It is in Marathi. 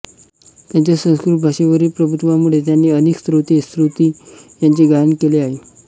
त्यांच्या संस्कृत भाषेवरील प्रभुत्वामुळे त्यांनी अनेक स्तोत्रे स्तुती यांचे गायन केले आहे